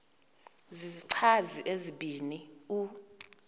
zizichazi ezibini u